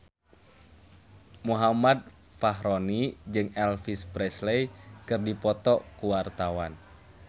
Muhammad Fachroni jeung Elvis Presley keur dipoto ku wartawan